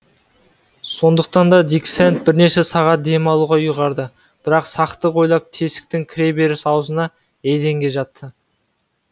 сондықтан да дик сэнд бірнеше сағат дем алуға ұйғарды бірақ сақтық ойлап тесіктің кіре беріс аузына еденге жатты